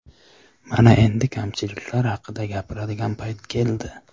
Mana endi kamchiliklar haqida gapiradigan payt keldi.